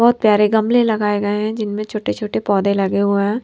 बहुत प्यारे गमले लगाए गए हैं जिनमें छोटे-छोटे पौधे लगे हुए हैं--